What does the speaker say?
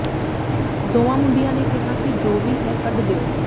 ਦੋਵਾਂ ਮੁੰਡਿਆਂ ਨੇ ਕਿਹਾ ਕਿ ਜੋ ਵੀ ਹੈ ਕੱਢ ਦਿਓ